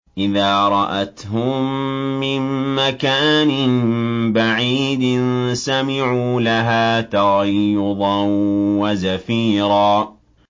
إِذَا رَأَتْهُم مِّن مَّكَانٍ بَعِيدٍ سَمِعُوا لَهَا تَغَيُّظًا وَزَفِيرًا